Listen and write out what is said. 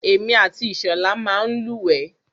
Èmi àti Ìṣọ̀lá máa ń lúwẹ̀ẹ́.